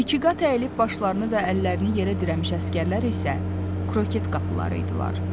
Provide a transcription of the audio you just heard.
İkiqat əyəlib başlarını və əllərini yerə dirəmiş əsgərlər isə kroket qapıları idilər.